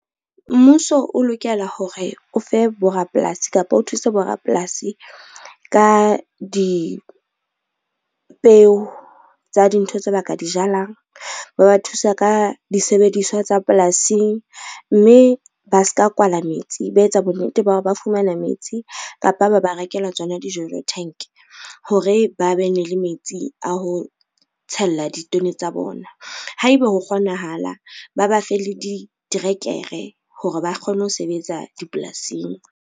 Mmuso o lokela hore o fe borapolasi kapa o thusa bo rapolasi ka dipeo tsa dintho tse baka di jalang. Ba ba thusa ka disebediswa tsa polasing mme ba ska kwala metsi, ba etsa bonnete ba hore ba fumana metsi kapa ba ba rekela tsona di-jojo tank, hore ba be ne le metsi a ho tshella ditone tsa bona. Haeba ho kgonahala, ba ba fe le diterekere hore ba kgone ho sebetsa dipolasing.